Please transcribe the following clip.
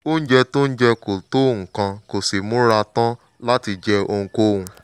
oúnjẹ tó ń jẹ kò tó nǹkan kò sì múra tán láti jẹ ohunkóhun